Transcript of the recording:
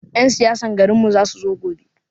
Yan siyasan garin mu za su zo gobe